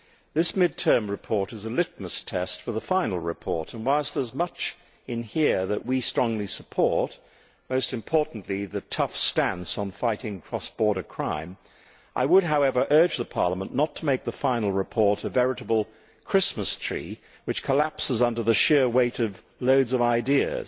This mid term report is a litmus test for the final report and, whilst there is much in here that we strongly support most importantly, the tough stance on fighting cross border crime I would, however, urge Parliament not to make the final report a veritable Christmas tree which collapses under the sheer weight of loads of ideas.